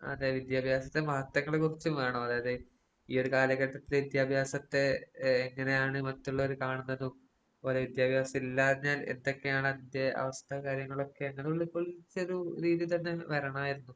അതെ വിദ്യാഭ്യാസത്തിന്റെ മഹത്വങ്ങളെ കുറിച്ചും വേണം. അതായത് ഈയൊര് കാലഘട്ടത്തില് വിദ്യാഭ്യാസത്തെ ഏഹ് എങ്ങനെയാണ് മറ്റുള്ളവര് കാണുന്നതും അതുപോലെ വിദ്യാഭ്യാസം ഇല്ലാഞ്ഞാൽ എന്തൊക്കെയാണ് അതിന്റെ അവസ്ഥ കാര്യങ്ങളൊക്കെ അങ്ങനൊള്ള ഫുൾ രീതിതന്നെ വരണായിരുന്നു.